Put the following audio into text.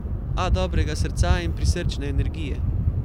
A dobrega srca in prisrčne energije.